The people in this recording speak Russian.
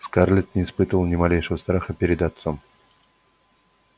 скарлетт не испытывала ни малейшего страха перед отцом